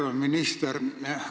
Härra minister!